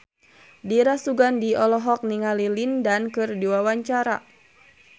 Dira Sugandi olohok ningali Lin Dan keur diwawancara